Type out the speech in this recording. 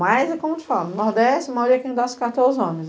Mas, como eu te falo, no nordeste, a maioria é quem dá as cartas é os homens.